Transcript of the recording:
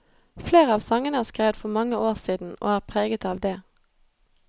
Flere av sangene er skrevet for mange år siden, og er preget av det.